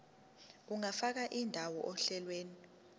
ungafaka indawo ohlelweni